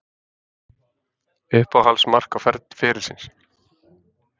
Uppáhalds mark ferilsins?